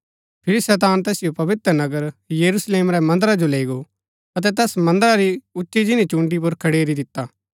फिरी शैतान तैसिओ पवित्र नगर यरूशलेम रै मन्दरा जो लैई गो अतै तैस मन्दरा री उच्ची जिनी चून्डी पुर खडेरी दिता